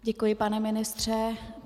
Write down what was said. Děkuji, pane ministře.